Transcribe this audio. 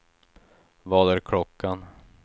Vad är klockan